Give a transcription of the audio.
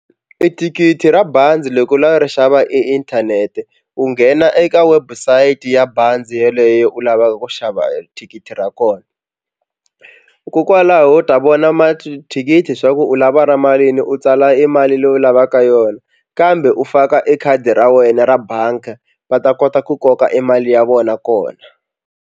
I thikithi ra bazi loko u lava ri xava einthanete u nghena eka website ya bazi yeleyo u lavaka ku xava thikithi ra kona kokwalaho u ta vona mathikithi swa ku u lava ra malini u tsala e mali leyi u lavaka yona kambe u faka e khadi ra wena ra bangi va ta kota ku koka e mali ya vona kona.